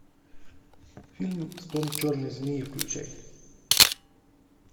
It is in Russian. фильм стон черной змеи включай